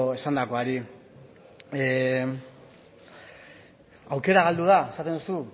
esandakoari aukera galdu da esaten duzu